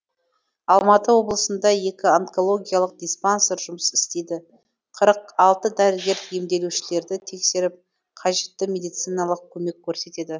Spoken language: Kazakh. алматы облысында екі онкологиялық диспансер жұмыс істейді қырық алты дәрігер емделушілерді тексеріп қажетті медициналық көмек көрсетеді